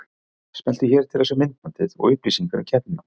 Smelltu hér til að sjá myndbandið og upplýsingar um keppnina